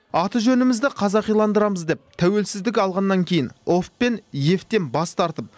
аты жөнімізді қазақиландырамыз деп тәуелсіздік алғаннан кейін ов пен ев тен бас тартып